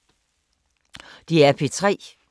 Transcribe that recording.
DR P3